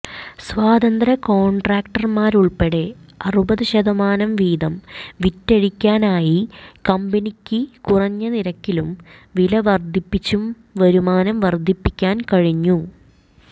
സ്വതന്ത്ര കോൺട്രാക്ടർമാരുൾപ്പെടെ അറുപതു ശതമാനം വീതം വിറ്റഴിക്കാനായി കമ്പനിയ്ക്ക് കുറഞ്ഞ നിരക്കിലും വില വർധിപ്പിച്ചും വരുമാനം വർധിപ്പിക്കാൻ കഴിഞ്ഞു